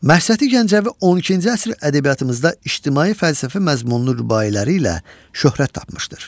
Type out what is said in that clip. Məhsəti Gəncəvi 12-ci əsr ədəbiyyatımızda ictimai-fəlsəfi məzmunlu rübailəri ilə şöhrət tapmışdır.